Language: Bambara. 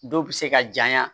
Dɔw bɛ se ka janya